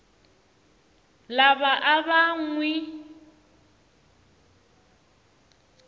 lava a va n wi